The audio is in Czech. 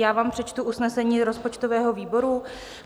Já vám přečtu usnesení rozpočtového výboru.